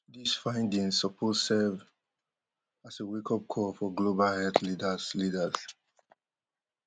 dis findings suppose serve as a wakeup call for global health leaders leaders